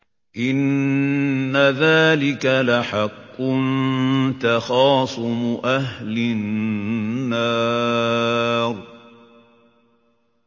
إِنَّ ذَٰلِكَ لَحَقٌّ تَخَاصُمُ أَهْلِ النَّارِ